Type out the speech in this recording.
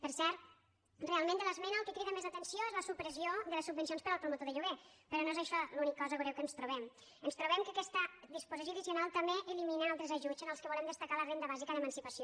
per cert realment de l’esmena el que crida més l’atenció és la supressió de les subvencions per al promotor de lloguer però no és això l’única cosa greu que ens trobem ens trobem que aquesta disposició addicio nal també elimina altres ajuts entre els quals volem destacar la renda bàsica d’emancipació